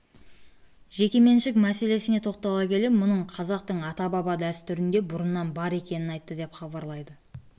жеке меншік мәселесіне тоқтала келе мұның қазақтың ата-баба дәстүрінде бұрыннан бар екенін айтты деп хабарлайды